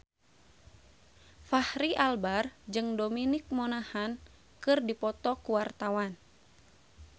Fachri Albar jeung Dominic Monaghan keur dipoto ku wartawan